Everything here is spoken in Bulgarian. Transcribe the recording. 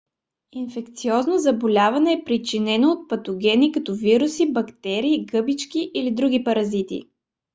инфекциозно заболяване е причиненото от патогени като вируси бактерии гъбички или други паразити